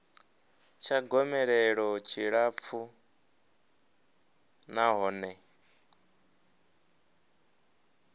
tsha gomelelo tshi tshilapfu nahone